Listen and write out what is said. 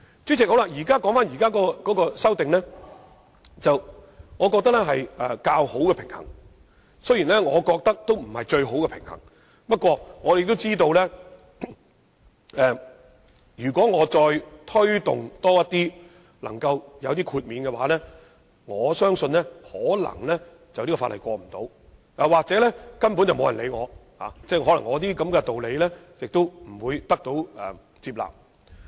主席，我認為現在提出的修正案只是較好的平衡，而並非最佳做法，不過，我知道若再要求就更多情況作出豁免，《條例草案》可能會不獲通過，又或根本不會有人理會我，因這些道理未必可得到大家的接納。